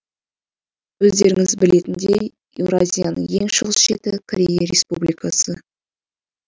өздеріңіз білетіндей еуразияның ең шығыс шеті корея республикасы